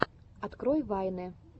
открой вайны